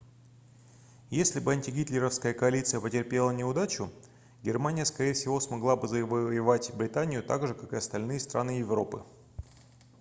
если бы антигитлеровская коалиция потерпела неудачу германия скорее всего смогла бы завоевать британию так же как и остальные страны европы